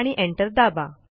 आणि एंटर दाबा